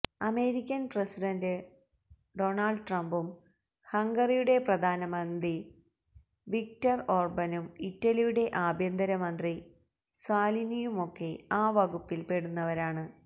American president Donald ട്രംപും ഹംഗറിയുടെ പ്രധാനമന്ത്രി വിക്ടര് ഓര്ബനും ഇറ്റലിയുടെ ആഭ്യന്തരമന്ത്രി സാല്വിനിയുമൊക്കെ ആ വകുപ്പില് പെടുന്നവരാണ്